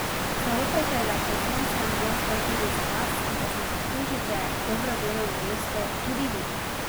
Zaupajte, da je pod soncem prostor tudi za vas in da si zaslužite dobro delovno mesto tudi vi.